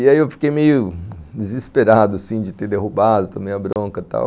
E aí eu fiquei meio desesperado, assim, de ter derrubado, tomei a bronca e tal.